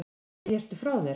Nei, ertu frá þér!